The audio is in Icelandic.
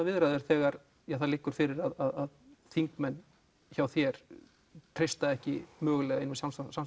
viðræður þegar það liggur fyrir að þingmenn hjá þér treysta ekki einum